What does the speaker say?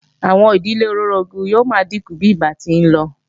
Àwọn ìdílé olóorogún yóò máa dínkù bí ìgbà ti ń lọ